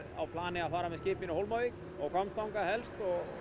á plani að fara með skip inn á Hólmavík og Hvammstanga helst